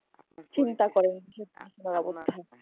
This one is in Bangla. আপনার চিন্তা করেন কি অবস্থা?